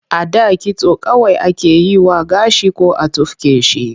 A da kitso kawai ake yi wa gashi ko a tufke shi.